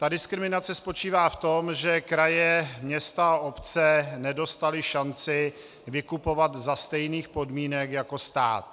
Ta diskriminace spočívá v tom, že kraje, města a obce nedostaly šanci vykupovat za stejných podmínek jako stát.